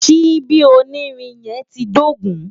Ṣíbí onírin yẹn ti dógùn-ún.